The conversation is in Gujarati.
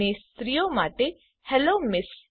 અને સ્ત્રીઓ માટે હેલ્લો એમએસ